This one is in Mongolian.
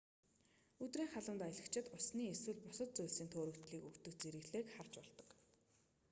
өдрийн халуунд аялагчид усны эсвэл бусад зүйлсийн төөрөгдлийг өгдөг зэрэглээг харж болдог